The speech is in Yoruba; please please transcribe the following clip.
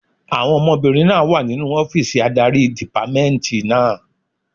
Àwọn ọmọbìnrin náà wà nínu ọ́fìsì adarí dìpámẹ́ẹ̀ntì náà